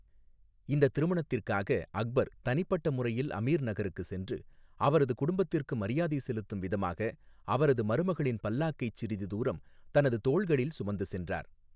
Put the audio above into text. இந்த திருமணத்திற்காக அக்பர் தனிப்பட்ட முறையில் அமீர் நகருக்கு சென்று, அவரது குடும்பத்திற்கு மரியாதை செலுத்தும் விதமாக, அவரது மருமகளின் பல்லாக்கைச் சிறிது தூரம் தனது தோள்களில் சுமந்து சென்றார்.